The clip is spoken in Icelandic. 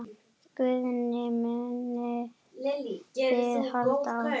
Guðný: Munið þið halda áfram?